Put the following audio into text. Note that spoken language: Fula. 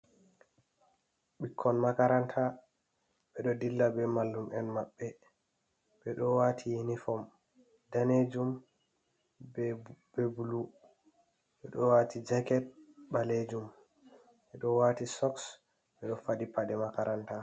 Ɓikkon makaranta ɓeɗo dilla be mallum'en maɓɓe ɓeɗo wati yinifom danejum be bulu, ɓeɗo wati jaket ɓalejum, ɓeɗo wati soks, ɓeɗo faɗi paɗe makaranta.